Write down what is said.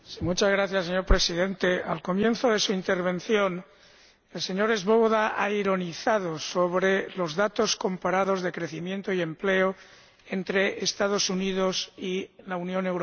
Señor Presidente, al comienzo de su intervención, el señor Swoboda ha ironizado sobre los datos comparados de crecimiento y empleo entre los Estados Unidos y la Unión Europea.